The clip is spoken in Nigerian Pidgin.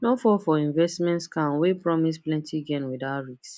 no fall for investment scam wey promise plenty gain without risk